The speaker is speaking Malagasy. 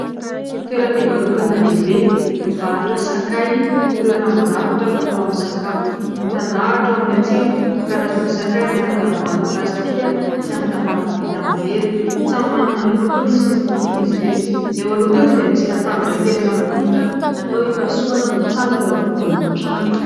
Toeram-pivarotana lehibe mivarotra sakay sy ireo ranon-javatra fatao amin'ny sakafo. Mitandahatra eo amin'ilay tsena ny karazana sakay anaty tavoahangy plastika sy amin'ny tavoahangy vita amin'ny vera. Samy manana ny lokony sy ny fofony izy ireto, eo aloha kosa dia misy latabatra kely naforitra natao hipahasohana mitsangana eo ampovoan'ny trano.